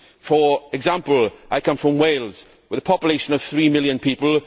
For example, I come from Wales, with a population of three million people.